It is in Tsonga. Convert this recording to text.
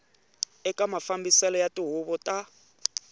eka mafambiselo ya tihuvo ta